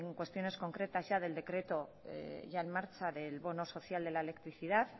cuestiones concretas del decreto ya en marcha del bono social de la electricidad